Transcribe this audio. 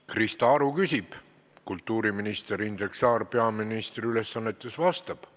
Krista Aru küsib, kultuuriminister Indrek Saar peaministri ülesannetes vastab.